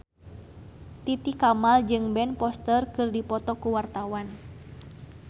Titi Kamal jeung Ben Foster keur dipoto ku wartawan